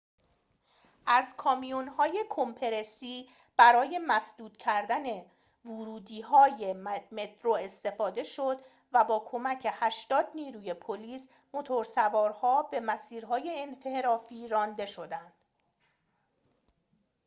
از کامیون‌های کمپرسی برای مسدود کردن ورودی‌های مترو استفاده شد و با کمک ۸۰ نیروی پلیس موتورسوارها به مسیرهای انحرافی رانده شدند